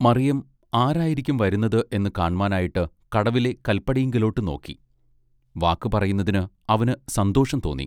മറിയം ആരായിരിക്കും വരുന്നത് എന്ന് കാണ്മാനായിട്ട് കടവിലെ കല്പടിയിങ്കലോട്ട് നോക്കി വാക്ക് പറയുന്നതിന് അവന് സന്തോഷം തോന്നി.